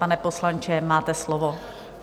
Pane poslanče, máte slovo.